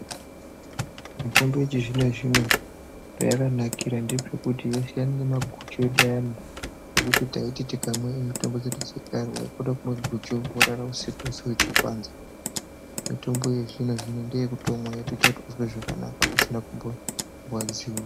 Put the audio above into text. Mitombo yechizvino zvino payaka nakira ndepekuti yasiyana nemaguchi edu ayani ekuti taiti tikamwe mitombo dzedu dzekare wakaite mumaguchu worara husiku weshe uchipanza mitombo wezvino zvino ndeyekutomwa wotoita kuti unzwe zvakanaka usina kumborwadziwa.